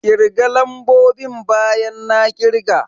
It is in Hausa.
Ƙirga lambobin bayan na ƙirga!